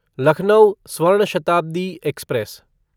Lucknow Swarna Shatabdi express